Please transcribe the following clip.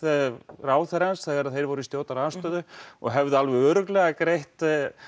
ráðherrans þegar þeir voru í stjórnarandstöðu og hefðu örugglega greitt